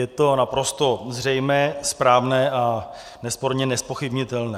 Je to naprosto zřejmé, správné a nesporně nezpochybnitelné.